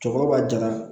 Cɔkɔrɔba b'a jala